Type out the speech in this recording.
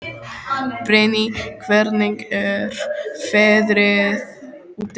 Brynný, hvernig er veðrið úti?